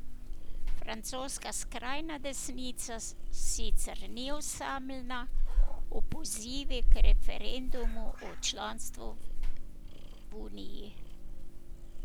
Francoska skrajna desnica sicer ni osamljena v pozivi k referendumu o članstvu v Uniji.